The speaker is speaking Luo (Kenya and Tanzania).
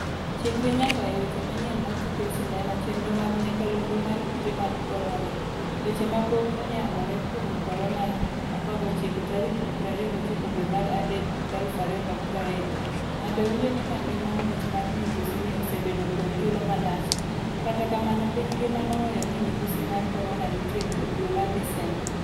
Chikri nyaka e weche manyien mar tuke sinema chenro mag nyakalondo mar Kute mag korona: Weche mapok oyangore kuom Korona 19 tarik 29 dwe mar adek 2020. Ng'ato winjo ni kagima muoch mar midhusi ni osebedo kuom thuolo malach, kata kamano piny ngima nowenyo ni midhusi mar korona nitie dwe mar Desemba.